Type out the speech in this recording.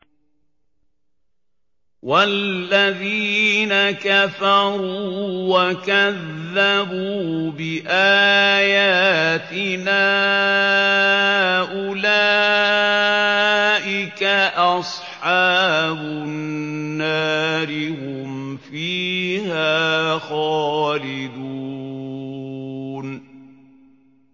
وَالَّذِينَ كَفَرُوا وَكَذَّبُوا بِآيَاتِنَا أُولَٰئِكَ أَصْحَابُ النَّارِ ۖ هُمْ فِيهَا خَالِدُونَ